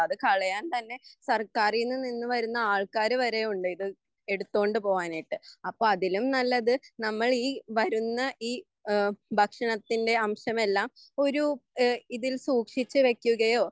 അത് കളയാൻ തന്നെ സർക്കാരിൽ നിന്നുവരുന്ന ആൾക്കാർ വരെയുണ്ട് ഇത് എടുത്തോണ്ട് പോവാനായിട്ട് അപ്പോൾ അതിലും നല്ലതു നമ്മൾ ഈ വരുന്ന ഈ ഭക്ഷണത്തിൻ്റെ അംശമെല്ലാം ഒരു ഇതിൽ സൂക്ഷിച്ചുവെക്കുകയോ